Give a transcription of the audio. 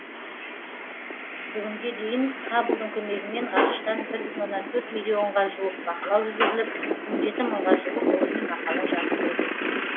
бүгінге дейін хабблдың көмегімен ғарыштан бір бүтін оннан төрт миллионға жуық бақылау жүргізіліп он жеті мыңға жуық ғылыми мақала жарық көрген